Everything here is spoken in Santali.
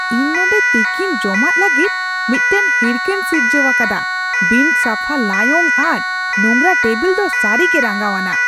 ᱤᱧ ᱱᱚᱸᱰᱮ ᱛᱤᱠᱤᱱ ᱡᱚᱢᱟᱜ ᱞᱟᱹᱜᱤᱫ ᱢᱤᱫᱴᱟᱝ ᱦᱤᱨᱠᱟᱹᱧ ᱥᱤᱨᱡᱟᱹᱣ ᱟᱠᱟᱫᱟ ᱼᱵᱤᱱᱼᱥᱟᱯᱷᱟ ᱞᱟᱭᱚᱝ ᱟᱨ ᱱᱚᱝᱨᱟ ᱴᱮᱵᱤᱞ ᱫᱚ ᱥᱟᱹᱨᱤᱜᱮ ᱨᱟᱸᱜᱟᱣᱟᱱᱟᱜ ᱾